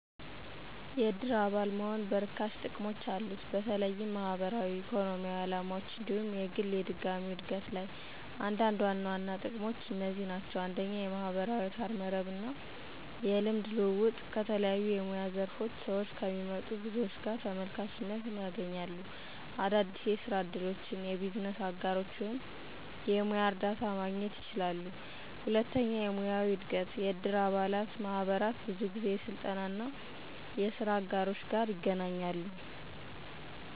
የእድር አባል መሆን በርካሽ ጥቅሞች አሉት፣ በተለይም ማህበራዊ፣ ኢኮኖሚያዊ ዓላማዎች እንዲሁም የግል የድጋሚው እድገት ላይ። አንዳንድ ዋና ዋና ጥቅሞች አና ክንድህ ናቸው 1. የማህበራዊ አውታረ መረብ እና የልምድ ልውውጥ - ከተለያዩ የሙያ ዘር ስዎች ከሚመጡ ብዙዎች ጋር ተመልካችነት ያገኛሉ። - አዳዲስ የስራ እድሎች፣ የቢዝነስ አጋሮች ወይም የሙያ እርዳታ ማግኘት ይችላሉ። 2. የሙያዊ እድገት** - የእድር አባላት ማህበራት ብዙ ጊዜ የስልጠና፣ የስራ አጋሮች፣